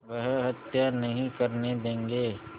वह हत्या नहीं करने देंगे